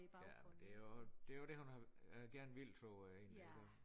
Ja men det jo det jo det hun har gerne vil tror jeg egentlig altså øh